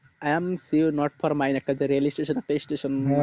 i am see you not for mind একটা যে reel station